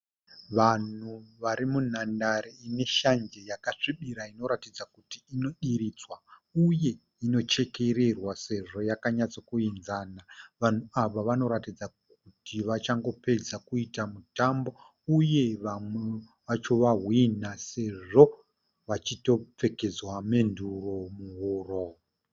Vanhu varimundanhare ineshanje yakasvibira inoratidza kuti inodiridzwa uye inochekererwa sezvo yakanyatsokuidzana. Vanhu ava vanoratidza kuti vachangopedza kuita mutambo , uye vamwe vacho vahwinha sezvo vachitopfekedzwa menduro muhuro.